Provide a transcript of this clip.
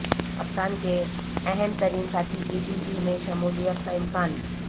کپتان کے اہم ترین ساتھی کی پی پی میں شمولیت کا امکان